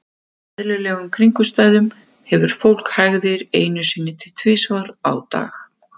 Undir eðlilegum kringumstæðum hefur fólk hægðir einu sinni til tvisvar á dag.